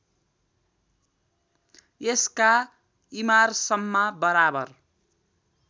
यसका इमारसम्मा बराबर